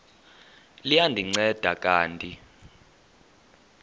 liya ndinceda kanti